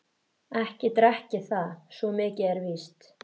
Ekki drekk ég það, svo mikið er víst.